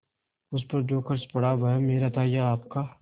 उस पर जो खर्च पड़ा वह मेरा था या आपका